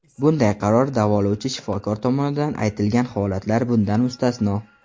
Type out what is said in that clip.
Bunday qaror davolovchi shifokor tomonidan aytilgan holatlar bundan mustasno.